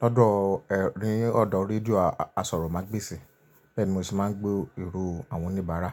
lọ́dọ̀, ni ọ̀dọ́ rédíò asọ̀rọ̀mágbèsì, bẹ́ẹ̀ ni mo se má ń gbọ́ ìró àwọn oníbàárà.